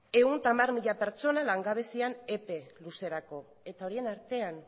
ehun eta hamar mila pertsona langabezian epe luzerako eta horien artean